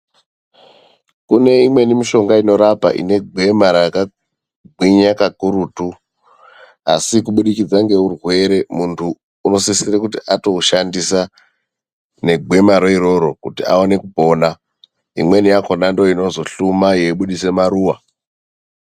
Kune imweni mishonga inorapa ine gwema rakagwinya kakurutu. Asi kubudikidza ngeurwere, muntu unosisire kuti atoushandisa negwemaro iroro kuti aone kupona. Imweni yakhona ndoo inozohluma yeibudisa maruwa.